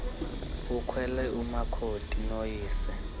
ukhwele umakoti noyise